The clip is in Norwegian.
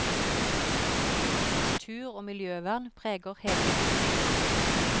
Natur og miljøvern preger hele virksomheten.